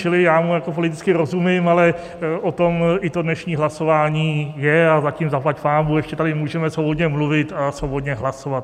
Čili já mu jako politicky rozumím, ale o tom i to dnešní hlasování je a zatím zaplať pánbůh ještě tady můžeme svobodně mluvit a svobodně hlasovat.